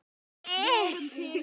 Guðrún og Helgi.